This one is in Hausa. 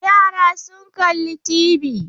Yara sun kalli TV.